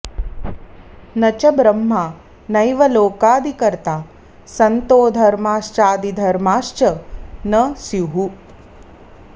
न च ब्रह्मा नैव लोकादिकर्ता सन्तो धर्माश्चादिधर्माश्च न स्युः